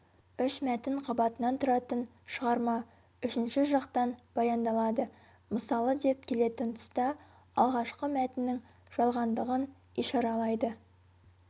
үш мәтін қабатынан тұратын шығарма үшінші жақтан баяндалады мысалы деп келетін тұста алғашқы мәтіннің жалғандығын ишаралайды